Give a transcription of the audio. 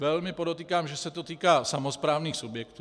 Velmi podotýkám, že se to týká samosprávných subjektů.